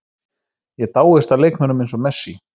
Ég dáist að leikmönnum eins og Messi.